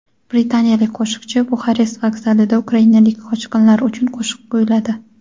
Britaniyalik qo‘shiqchi Buxarest vokzalida ukrainalik qochqinlar uchun qo‘shiq kuyladi.